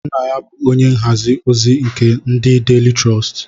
Nna ya bu onye nhazi ozi nke ndi Daily Trust